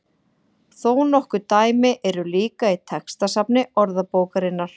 Þó nokkur dæmi eru líka í textasafni Orðabókarinnar.